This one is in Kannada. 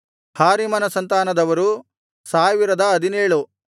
ಹಾರಿಮನ ಸಂತಾನದವರು 1017